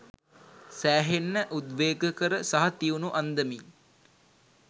සෑහෙන්න උද්වේගකර සහ තියුණු අන්දමින්